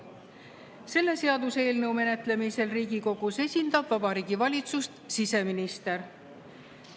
Selle seaduseelnõu menetlemisel Riigikogus esindab Vabariigi Valitsust siseminister.